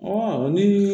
ni